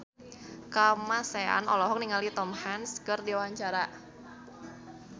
Kamasean olohok ningali Tom Hanks keur diwawancara